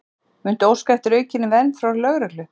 Lillý: Muntu óska eftir aukinni vernd frá lögreglu?